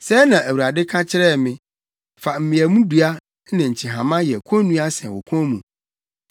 Sɛɛ na Awurade ka kyerɛɛ me: “Fa mmeamdua ne nkyehama yɛ konnua sɛn wo kɔn mu.